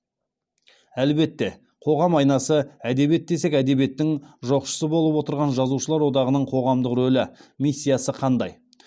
әлбетте қоғам айнасы әдебиет десек әдебиеттің жоқшысы болып отырған жазушылар одағының қоғамдық рөлі миссиясы қандай